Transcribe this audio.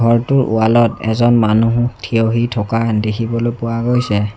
ঘৰটোৰ ৱালত এজন মানুহ থিয় হৈ থকা দেখিবলৈ পোৱা গৈছে।